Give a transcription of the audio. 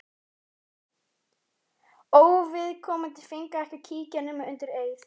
Óviðkomandi fengu ekki að kíkja nema undir eið.